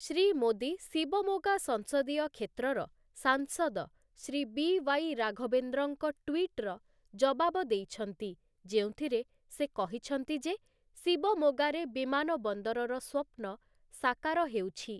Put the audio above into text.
ଶ୍ରୀ ମୋଦୀ ଶିବମୋଗା ସଂସଦୀୟ କ୍ଷେତ୍ରର ସାଂସଦ ଶ୍ରୀ ବି ୱାଇ ରାଘବେନ୍ଦ୍ରଙ୍କ ଟୁଇଟ୍ ର ଜବାବ ଦେଇଛନ୍ତି ଯେଉଁଥିରେ ସେ କହିଛନ୍ତି ଯେ ଶିବମୋଗାରେ ବିମାନବନ୍ଦରର ସ୍ୱପ୍ନ ସାକାର ହେଉଛି ।